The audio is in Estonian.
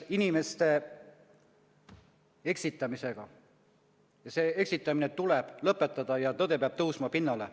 Inimeste eksitamine tuleb lõpetada ja tõde peab tõusma pinnale.